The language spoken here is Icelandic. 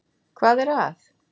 Hvað er að?